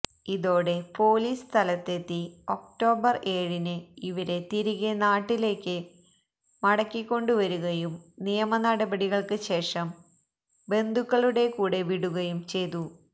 ഇതോടെ പോലീസ് സ്ഥലത്തെത്തി ഒക്ടോബര് ഏഴിന് ഇവരെ തിരികെ നാട്ടിലേക്ക് മടക്കിക്കൊണ്ടുവരികയും നിയമനടപടികള്ക്ക് ശേഷം ബന്ധുക്കളുടെ കൂടെ വിടുകയും ചെയ്തു